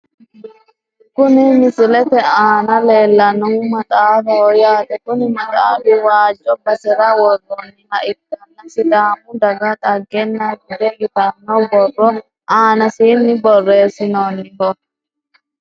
kuni misilete aana leellannohu maxaafaho yaate, kuni maxaafi waajjo basera worroonniha ikkanna sidaamu daga xaggenna bude yitanno borro aanasiinni borreessinoonniho.